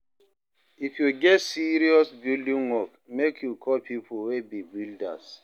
If you get serious building work, make you call pipo wey be builders.